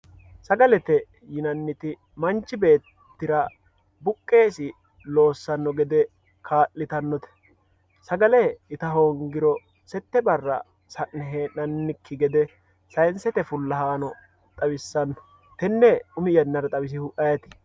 sagalete yinanniti manchi beettira buqeesi loossanno gede kaa'litannote sagale ita hoongiro sette barra sa'ne hee'nanniki gede saynsete fullahano xawissanno tenne umi yannara xawisihu ayeti yiniro